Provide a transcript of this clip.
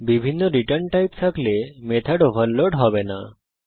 বিভিন্ন return type থাকলে method overload হবে না